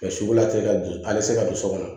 Ka sugula cɛ ka bin a bɛ se ka don so kɔnɔ